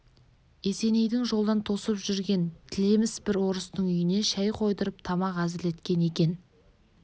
есенейді жолдан тосып жүрген тілеміс бір орыстың үйіне шай қойдырып тамақ әзірлеткен екен